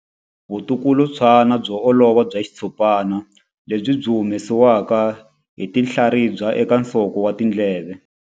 Vulukulutswana byo olova bya xitshopana lebyi byi humesiwaka hi tinhlaribya eka nsoko wa ndleve.